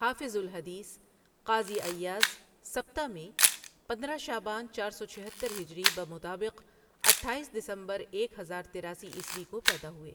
حافظ الحدیث قاضی عیاضسبتہ میں پندرہ شعبان چار سو چھہتر ہجری بمطابق اٹھائیس دسمبر ایک ہزار تیراسی عیسوی کو پیدا ہوئے